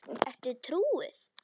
Ertu trúuð?